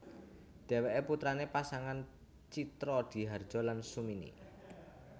Dheweke putrane pasangan Tjitrodihardjo lan Sumini